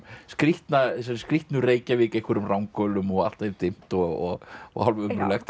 skrýtnu þessari skrýtnu Reykjavík einhverjum ranghölum og allt er dimmt og og hálf ömurlegt